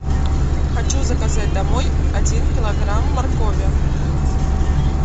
хочу заказать домой один килограмм моркови